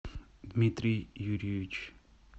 дмитрий юрьевич